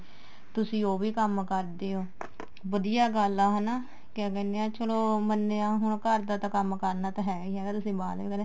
ਤੁਸੀਂ ਉਹ ਵੀ ਕੰਮ ਕਰਦੇ ਓ ਵਧੀਆ ਗੱਲ ਏ ਹਨਾ ਕਿਆ ਕਹਿਨੇ ਏ ਚਲੋ ਮੰਨਿਆ ਹੁਣ ਘਰ ਦਾ ਤਾਂ ਕੰਮ ਕਰਨਾ ਤਾਂ ਹੈ ਈ ਹੈ ਨਾ ਤੁਸੀਂ ਬਾਹਰ ਦਾ ਵੀ ਕਰਦੇ